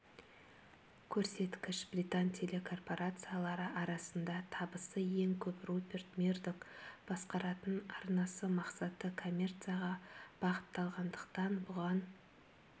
көрсеткіш британ телекорпорациялары арасында табысы ең көп руперт мердок басқаратын арнасы мақсаты коммерцияға бағытталғандықтан бұған